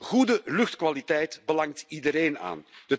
Goede luchtkwaliteit belangt iedereen aan.